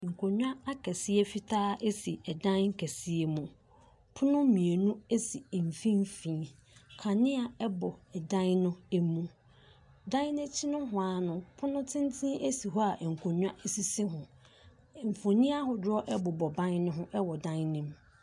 Fundaka a nhyiren da so. Nnipa kuw bi ahyia wɔ hɔ a wɔreyɛ awufosom. Ɔsɔfo gyina hɔ a okura Bible. Nnipa no a ahyia nyinaa hyɛ tuntum. Wɔn nyinaa gyinagyina akatawia ase.